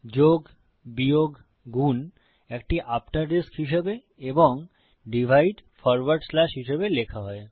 যোগ বিয়োগ গুন একটি আফ্টাররিস্ক হিসাবে এবং ডিভাইড ফরওয়ার্ড স্ল্যাশ হিসাবে লেখা হয়